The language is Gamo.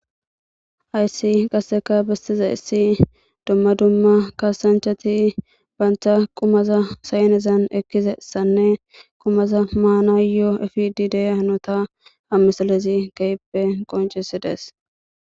Hayssi qasseka beettizayssi dumma dumma kaasanchati bantha qumaza saynezan ekkisessanne qumaza maanayoo efide diya hanota ha misilezi keehippe qoncissi dees.